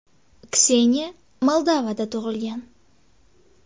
Kseniya Moldovada tug‘ilgan.